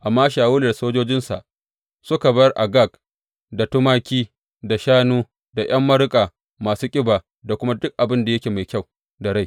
Amma Shawulu da sojojinsa suka bar Agag, da tumaki, da shanu, da ’yan maruƙa masu ƙiba da kuma duk abin da yake mai kyau da rai.